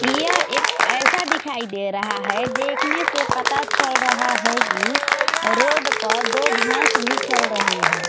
यह एक ऐसा दिखाई दे रहा है देखने से पता चल रहा है कि रोड पर दो भैंस भी चल रही है।